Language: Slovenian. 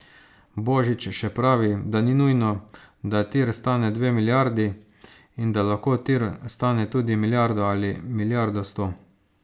Božič še pravi, da ni nujno, da tir stane dve milijardi, in da lahko tir stane tudi milijardo ali milijardo sto.